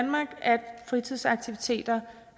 fritidsaktiviteter